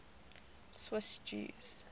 swiss jews